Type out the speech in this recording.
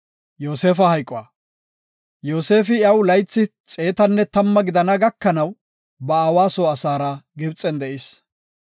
Yoosefi, iyaw laythi xeetanne tamma gidana gakanaw ba aawa soo asaara Gibxen de7is.